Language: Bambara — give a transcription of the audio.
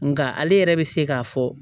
Nga ale yɛrɛ bɛ se k'a fɔ